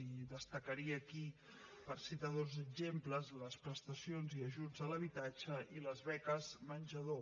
i destacaria aquí per citar dos exemples les prestacions i ajuts a l’habitatge i les beques menjador